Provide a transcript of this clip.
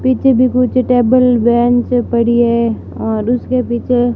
पीछे भी कुछ टेबल बेंच पड़ी है और उसके पीछे--